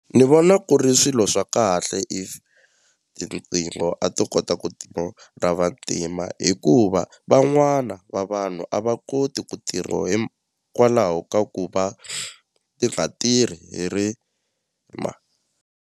Ni vona ku ri swilo swa kahle if riqingho a to kota ku ra vantima hikuva van'wana va vanhu a va koti ku tirho hikwalaho ka ku va ti nga tirhi ri .